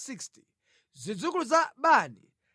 zidzukulu za Bani 642